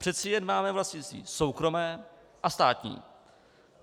Přece jen máme vlastnictví soukromé a státní.